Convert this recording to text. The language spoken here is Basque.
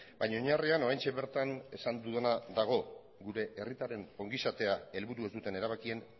baina oinarrian oraintxe bertan esan dudana dago gure herritarren ongizatea helburu ez duten erabakien